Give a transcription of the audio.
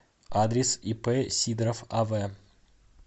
адрес ип сидоров ав